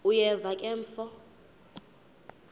uyeva ke mfo